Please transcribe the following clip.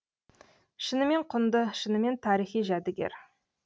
шынымен құнды шынымен тарихи жәдігер